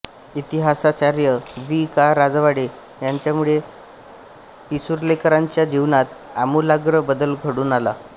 इतिहासाचार्य वि का राजवाडे यांच्यामुळे पिसुर्लेकरांच्या जीवनात आमूलाग्र बदल घडून आला